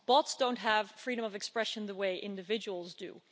Bots don't have freedom of expression the way individuals do.